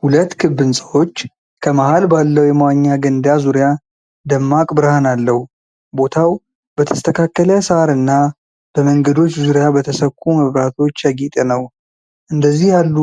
ሁለት ክብ ሕንፃዎች ከመሃል ባለው የመዋኛ ገንዳ ዙሪያ ደማቅ ብርሃን አለው። ቦታው በተስተካከለ ሣር እና በመንገዶች ዙሪያ በተሰኩ መብራቶች ያጌጠ ነው። እንደዚህ ያሉ